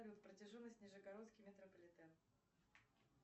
протяженность нижегородский метрополитен